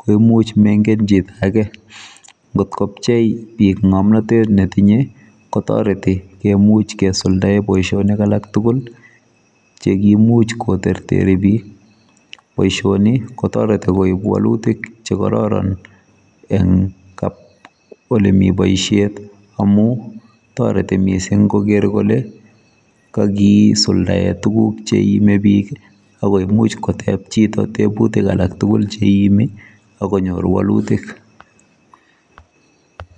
koimuch mengen ake ngotkopchei bik ngomnotet netinye kotoreti kemucch kosuldae boisionik alak tugul chekimuch koterteri bik boisioni kotoreti koib walutik chekororon eng olemi boisiet amu toreti mising koker kole kakisuldae tuguk cheiime bik akoimuch koteb chito tebutik alak tugul cheiimi akonyor walutik